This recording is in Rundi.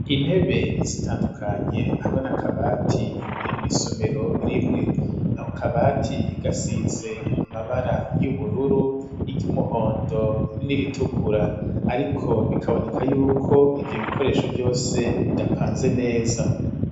Intebe zitandukanye, hamwe n'akabati, biri mw'isomero rimwe; ako kabati, gasize amabara y'ubururu, iry'umuhondo, n'iritukura; ariko, bikaboneka y'uko ivyo bikoresho vyose, bidapanze neza.